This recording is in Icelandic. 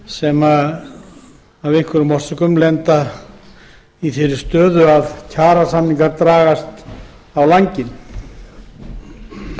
sem af einhverjum ástæðum lendir í því að kjarasamningar dragast á langinn frumvarpið gengur